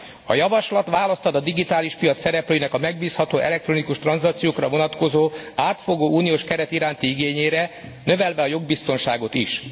A javaslat választ ad a digitális piac szereplőinek a megbízható elektronikus tranzakciókra vonatkozó, átfogó uniós keret iránti igényére, növelve a jogbiztonságot is.